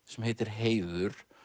sem heitir Heiður